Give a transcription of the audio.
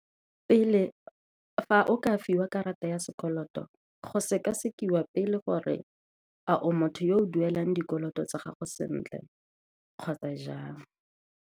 Pele o ka fiwa karata ya sekoloto, go sekasekiwa pele gore a o motho yo o duelang dikoloto tsa gago sentle kgotsa jang.